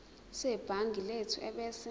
sebhangi lethu ebese